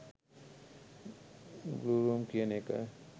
blue room කියන එක